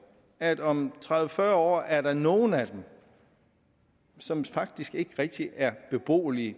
at om tredive til fyrre år er der nogle af dem som faktisk ikke rigtig er beboelige